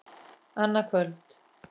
Annað kvöld.